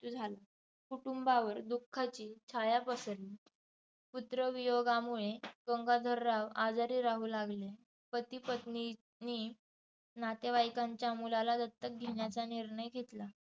झाला. कुटुंबावर दुःखाची छाया पसरली. पुत्रवियोगामुळे गंगाधरराव आजारी राहू लागले. पतीपत्नींनी नातेवाईकांच्या मुलाला दत्तक घेण्याचा निर्णय घेतला.